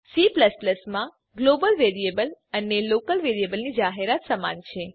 C માં global variable અને local વેરીએબલની જાહેરાત સમાન છે